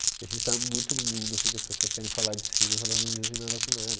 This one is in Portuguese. A gente está muito num mundo assim que as pessoas querem falar de si, mas elas não dizem nada com nada.